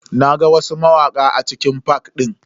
Na ga wasu mawaka a cikin fak din.